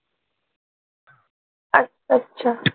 अच्छा अच्छा.